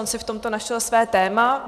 On si v tomto našel své téma.